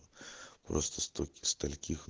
просто сто стольких